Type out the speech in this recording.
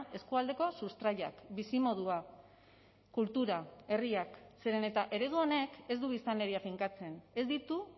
eskualdeko sustraiak bizimodua kultura herriak zeren eta eredu honek ez du biztanleria finkatzen ez ditu